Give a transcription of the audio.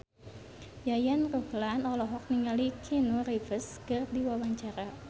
Yayan Ruhlan olohok ningali Keanu Reeves keur diwawancara